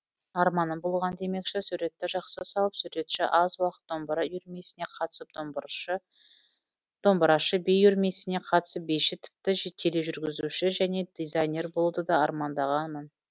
арманым болған демекші суретті жақсы салып суретші аз уақыт домбыра үйірмесіне қатысып домбырашы би үйірмесіне қатысып биші тіпті тележүргізуші және дизайнер болуды да армандағанмын